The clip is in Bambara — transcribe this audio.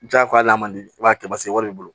Jagoya hali n'a man di i b'a kɛ basi wari b'i bolo